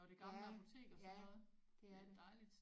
Ja ja det er det